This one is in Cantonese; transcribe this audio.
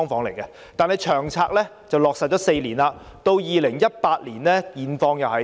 然而，《長策》已落實4年 ，2018 年的情況如何？